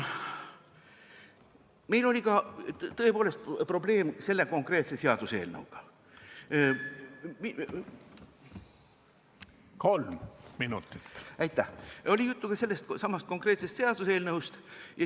Meil oli tõepoolest probleem selle konkreetse seaduseelnõuga, oli juttu ka sellestsamast seaduseelnõust.